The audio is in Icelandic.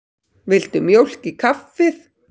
Viltu mjólk í kaffið?